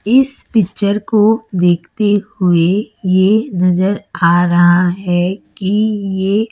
इस पिक्चर को देखते हुए ये नज़र आ रहा है कि ये--